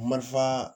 Marifan